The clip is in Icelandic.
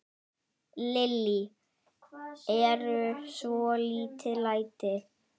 Lillý: Eru svolítil læti?